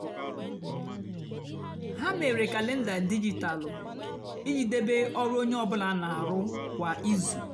hà mére kalenda dijitalụ íjì débé ọrụ ónyé ọ bụlà nà-àrụ kwá ízú.